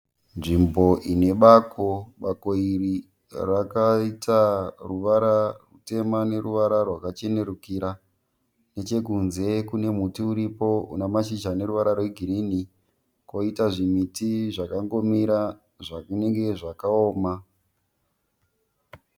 Nzvimbo ine bako. Bako iri rakaita ruvara rutema neruvara rwakachenurukira. Nechekunze kune muti uripo une mazhizha ane ruvara rwegirini. Koita zvimiti zvakangomira zvazvinenge zvakaoma.